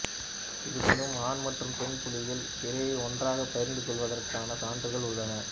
இருப்பினும் ஆண் மற்றும் பெண் புலிகள் இரையை ஒன்றாகப் பகிர்ந்து கொள்வதற்கான சான்றுகள் உள்ளன